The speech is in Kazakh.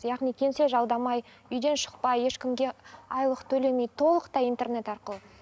яғни кеңсе жалдамай үйден шықпай ешкімге айлық төлемей толықтай интернет арқылы